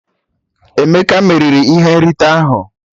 Emeke meriri ihe nrite ahụ